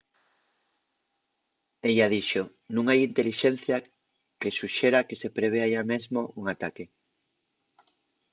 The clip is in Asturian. ella dixo nun hai intelixencia que suxera que se prevea yá mesmo un ataque